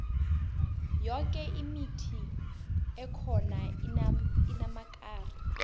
yoke imithi ekhona inamakari